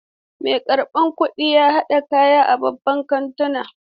Mai karɓan kuɗin ya haɗa kaya a babban kantuna.